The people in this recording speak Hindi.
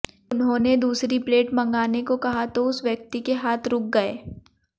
उन्होंने दूसरी प्लेट मंगाने को कहा तो उस व्यक्ति के हाथ रुक गए